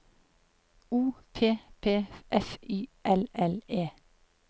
O P P F Y L L E